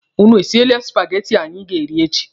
Ụnụ esiele supageti anyị ga-eri echi?